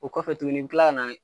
O kɔfɛ tuguni i be kila ka na